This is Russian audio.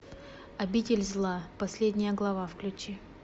обитель зла последняя глава включи